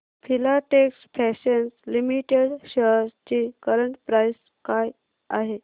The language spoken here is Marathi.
फिलाटेक्स फॅशन्स लिमिटेड शेअर्स ची करंट प्राइस काय आहे